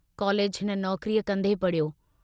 College हिन नौकरीअ कन्दे पड़िहयो।